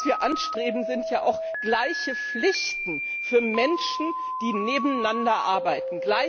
was wir anstreben, sind ja auch gleiche Pflichten für Menschen, die nebeneinander arbeiten.